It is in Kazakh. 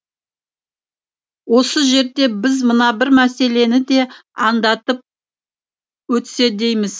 осы жерде біз мына бір мәселені де аңдатып өтсе дейміз